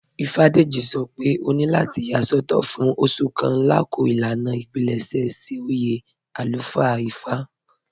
Ífádéjì̀ sọ́ pé òní látì yà sọtọ̀ fún òṣù kàn lákọọ̀ ilànà ìpílẹṣẹ̀ sí oyè alúfáà Ífá"